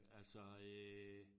Altså øh